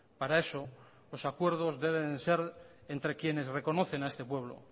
para eso los acuerdos deben de ser entre quienes reconocen a este pueblo